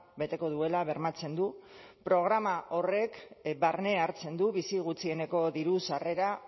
beteko duela bermatzen du programa horrek barne hartzen du bizi gutxieneko diru sarrera